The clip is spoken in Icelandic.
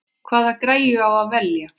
Hvaða græju á að velja?